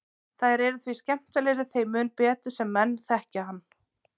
Þær eru því skemmtilegri þeim mun betur sem menn þekkja hann.